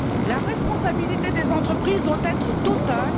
De même, la responsabilité des entreprises doit être